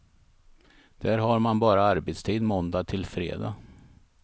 Där har man bara arbetstid måndag till fredag.